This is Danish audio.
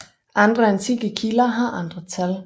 Andre antikke kilder har andre tal